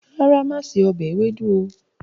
Rárá, máa ṣe ọbẹ̀ ewédú o.